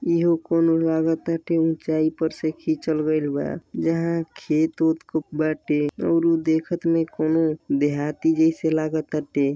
इहो कौनो लागताटे ऊंचाई पर से खिंचल गइल बा जहां खेत ओत खूब बाटे और ऊ देखत में कौनो देहाती जैसे लागताटे।